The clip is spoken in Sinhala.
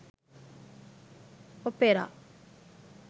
opera